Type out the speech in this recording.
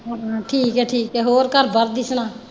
ਹਮ ਠੀਕ ਹੈ ਠੀਕ ਹੈ ਹੋਰ ਘਰ ਬਾਹਰ ਦੀ ਸੁਣਾ?